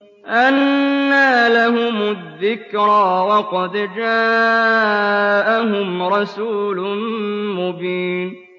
أَنَّىٰ لَهُمُ الذِّكْرَىٰ وَقَدْ جَاءَهُمْ رَسُولٌ مُّبِينٌ